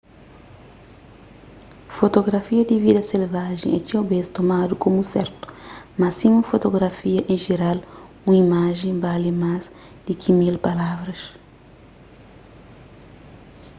fotografia di vida selvajen é txeu bês tomadu komu sertu mas sima fotografia en jeral un imajen bali más di ki mil palavra